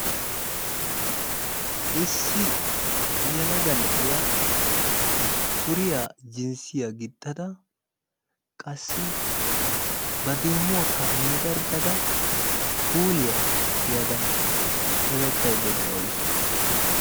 Issi yelaga na'iya suriya jinssiya gixxada qassi ba deemuwakka meedarggada kuuliya tiyada hemettaydda de'awusu.